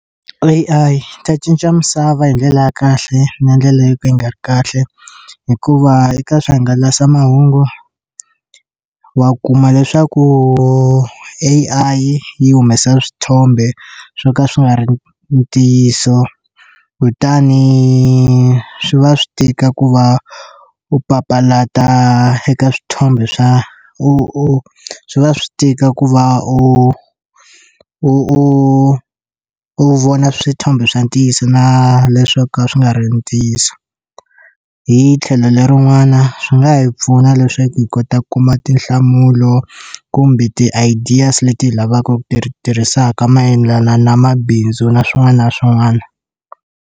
A_I ta cinca misava hi ndlela ya kahle na ndlela yo ka yi nga ri kahle hikuva eka swihangalasamahungu wa kuma leswaku A_I yi humesa swithombe swo ka swi nga ri ntiyiso kutani swi va swi tika ku va u papalata eka swithombe swa u swi va swi tika ku va u u u vona swithombe swa ntiyiso na leswo ka swi nga ri ntiyiso hi tlhelo lerin'wana swi nga hi pfuna leswaku hi kota ku kuma tinhlamulo kumbe ti ideas leti hi lavaku ti tirhisaka mayelana na mabindzu na swin'wana na swin'wana.